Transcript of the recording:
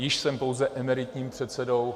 Již jsem pouze emeritním předsedou.